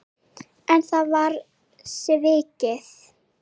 En það var svikið.